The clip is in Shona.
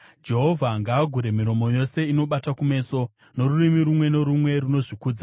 Jehovha ngaagure miromo yose inobata kumeso, norurimi rumwe norumwe runozvikudza